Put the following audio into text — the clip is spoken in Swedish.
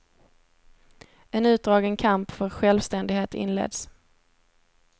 En utdragen kamp för självständighet inleds.